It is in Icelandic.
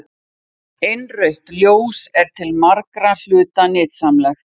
Innrautt ljós er til margra hluta nytsamlegt.